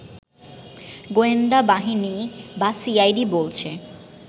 গোয়েন্দা বাহিনী বা সিআইডি বলছে